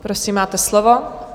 Prosím, máte slovo.